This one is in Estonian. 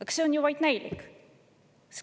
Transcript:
Aga see on ju vaid näilik!